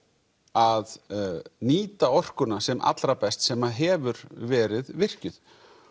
að nýta orkuna sem allra best sem hefur verið virkjuð